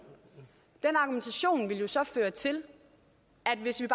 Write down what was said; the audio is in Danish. så ville føre til at hvis vi